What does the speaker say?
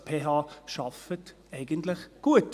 Die PH arbeitet eigentlich gut.